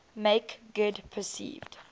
make good perceived